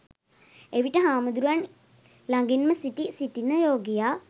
එවිට හාමුදුරුවන් ලඟින්ම සිටි සිටින රෝගියා